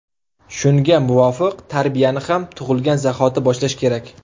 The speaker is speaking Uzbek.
Shunga muvofiq, tarbiyani ham tug‘ilgan zahoti boshlash kerak.